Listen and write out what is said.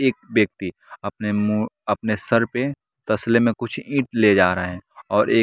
एक व्यक्ति अपने मु अपने सर पे तसले में कुछ ईंट ले जा रहा है और एक।